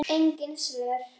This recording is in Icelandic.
Engin svör.